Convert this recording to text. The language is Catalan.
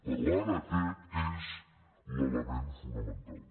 però ara aquest és l’element fonamental